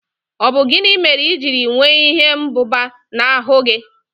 Ọ bụ gịnị mere ijiri nwee ihe mbụba na ahụ gị?